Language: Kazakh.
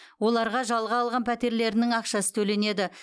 оларға жалға алған пәтерлерінің ақшасы төленеді